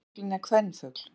Efri fuglinn er kvenfugl.